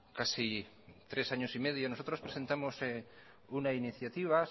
casi tres años y medio nosotros presentamos una iniciativa